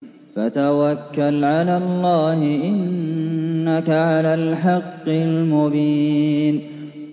فَتَوَكَّلْ عَلَى اللَّهِ ۖ إِنَّكَ عَلَى الْحَقِّ الْمُبِينِ